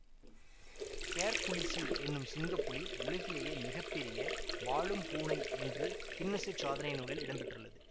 Hercules எனும் சிங்கப்புலி உலகிலேயே மிக பெரிய வாழும் பூனை என்று கின்னசுச் சாதனை நூலில் இடம்பெற்றுள்ளது